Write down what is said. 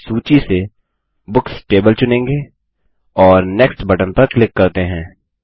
हम सूची से बुक्स टेबल चुनेंगे और नेक्स्ट बटन पर क्लिक करते हैं